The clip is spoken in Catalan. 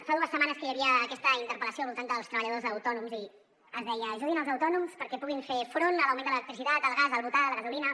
fa dues setmanes que hi havia aquesta interpel·lació al voltant dels treballadors autònoms i es deia ajudin els autònoms perquè puguin fer front a l’augment de l’electricitat el gas del butà de la gasolina